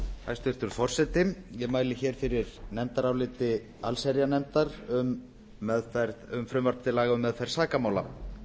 hæstvirtur forseti ég mæli hér fyrir nefndarálit allsherjarnefndar um frumvarp til laga um meðferð sakamála